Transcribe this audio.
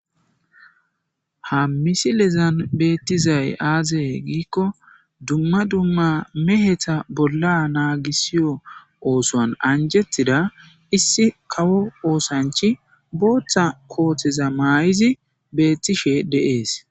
Ha misilezan beetizay aaze giikon duma duma meheta bolla naagisiyo ootuwan anjetida isi kawo oosanchi bootha kooteza mayizi beetishe de'es.